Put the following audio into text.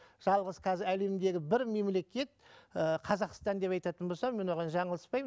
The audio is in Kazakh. жалғыз қазір әлемдегі бір мемлекет ыыы қазақстан деп айтатын болсам мен оған жаңылыспаймын